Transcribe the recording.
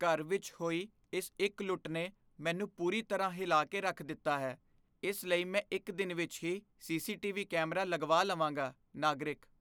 ਘਰ ਵਿੱਚ ਹੋਈ ਇਸ ਇੱਕ ਲੁੱਟ ਨੇ ਮੈਨੂੰ ਪੂਰੀ ਤਰ੍ਹਾਂ ਹਿਲਾ ਕੇ ਰੱਖ ਦਿੱਤਾ ਹੈ, ਇਸ ਲਈ ਮੈਂ ਇੱਕ ਦਿਨ ਵਿੱਚ ਹੀ ਸੀ.ਸੀ.ਟੀ.ਵੀ. ਕੈਮਰਾ ਲਗਵਾ ਲਵਾਂਗਾ ਨਾਗਰਿਕ